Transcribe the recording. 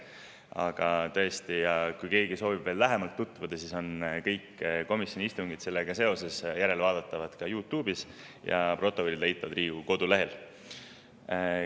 Aga kui keegi soovib veel lähemalt tutvuda, siis ütlen, et kõik need komisjoni istungid on järelvaadatavad YouTube'is ja protokollid on Riigikogu kodulehel.